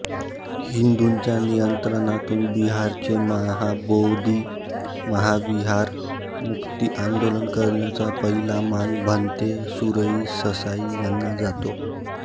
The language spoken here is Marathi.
हिंदूंच्या नियंत्रणातून बिहारचे महाबोधी महाविहार मुक्ती आंदोलन करण्याचा पहिला मान भंते सुरई ससाई यांना जातो